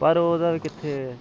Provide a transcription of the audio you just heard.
ਤੇ ਓਹਨਾ ਦਾ ਵੀ ਕਿਥੇ